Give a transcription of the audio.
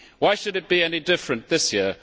Why should it be any different this year?